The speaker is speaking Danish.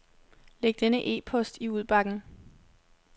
Læg denne e-post i udbakken.